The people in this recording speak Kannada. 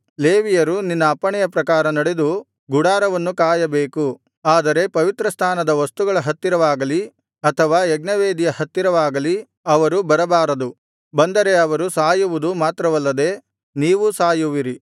ಲೇವಿಯರು ನಿನ್ನ ಅಪ್ಪಣೆಯ ಪ್ರಕಾರ ನಡೆದು ಗುಡಾರವನ್ನು ಕಾಯಬೇಕು ಆದರೆ ಪವಿತ್ರಸ್ಥಾನದ ವಸ್ತುಗಳ ಹತ್ತಿರವಾಗಲಿ ಅಥವಾ ಯಜ್ಞವೇದಿಯ ಹತ್ತಿರವಾಗಲಿ ಅವರು ಬರಬಾರದು ಬಂದರೆ ಅವರು ಸಾಯುವುದು ಮಾತ್ರವಲ್ಲದೆ ನೀವೂ ಸಾಯುವಿರಿ